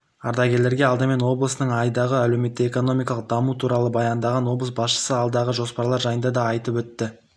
ардагерлерге алдымен облыстың айдағы әлеуметтік-экономикалық дамуы туралы баяндаған облыс басшысы алдағы жоспарлар жайында да айтып өтті